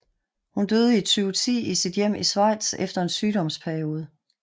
Hun døde i 2010 i sit hjem i Schweiz efter en sygdomsperiode